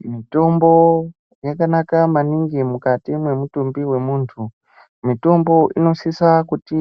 Mitombo yakanaka maningi mukati memutumbi wemuntu. Mitombo inosisa kuti